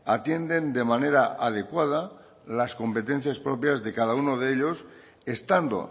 atienden de manera adecuada las competencias propias de cada uno de ellos estando